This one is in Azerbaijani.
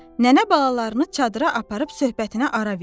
Nənə balalarını çadıra aparıb söhbətinə ara verdi.